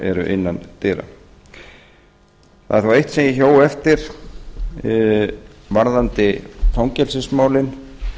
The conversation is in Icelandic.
eru innan dyra það er þó eitt sem ég hjó eftir varðandi fangelsismálin og